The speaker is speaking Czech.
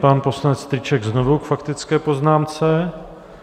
Pan poslanec Strýček znovu k faktické poznámce.